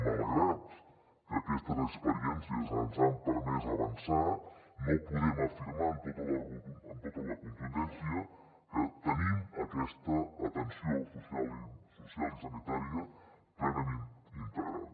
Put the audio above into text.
malgrat que aquestes experiències ens han permès avançar no podem afirmar amb tota la contundència que tenim aquesta atenció social i sanitària plenament integrada